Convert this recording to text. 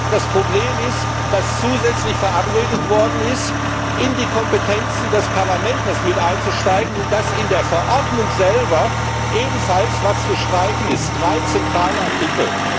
Das Problem ist, dass zusätzlich verabredet worden ist, in die Kompetenzen des Parlaments mit einzusteigen, und dass in der Verordnung selber etwas gestrichen werden soll, und zwar drei zentrale Artikel.